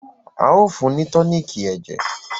ao fún ni toniiki ẹjẹ.